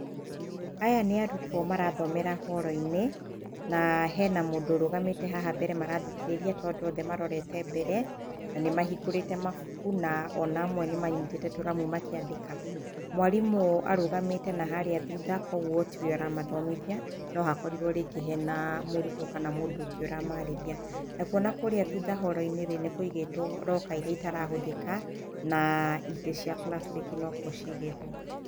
Aya nĩ arutwo marathomera horoinĩ na hena mũndũ ũrũgamĩte haha mbere marathikĩrĩria tondũ othe marorete mbere na nĩmahingũrĩte mabuku na ona amwe nĩmanyitite tũramu makiandĩka. Mwarimũ arũgamĩte naharĩa thutha kwoguo tiwe aramathomithia no akorirwo rĩngĩ hena mũrutwo kana mũndũ ũngĩ ũramarĩrĩa nakuo nakũrĩa thutha horoinĩ nĩkũigwitwo locker iria itarahathĩka na itĩ cia plastĩki nokuo ciigĩtwo.